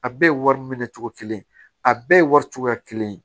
A bɛɛ ye wari minɛcogo kelen ye a bɛɛ ye wari cogoya kelen ye